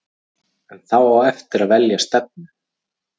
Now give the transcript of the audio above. En þá er eftir að velja stefnu.